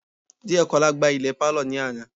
Diekola gbá ilẹ̀ pálọ̀ ní àná